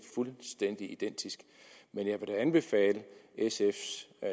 fuldstændig identisk men jeg vil da anbefale sfs